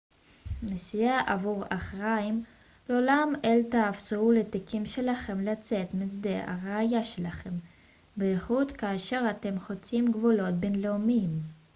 נשיאה עבור אחרים לעולם אל תאפשרו לתיקים שלכם לצאת משדה הראייה שלכם בייחוד כאשר אתם חוצים גבולות בינלאומיים